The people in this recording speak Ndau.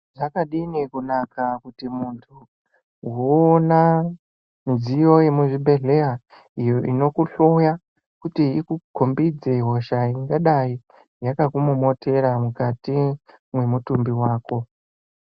Zvakadini kunaka kuti muntu woona midziyo yemuzvibhedhleya iyo inokuhloya kuti ikukombidze hosha ingadayi yakakumomotera mukati mwemutumbi wako.